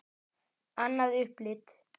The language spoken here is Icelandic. Annað upplit.